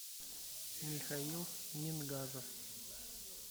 михаил мингажев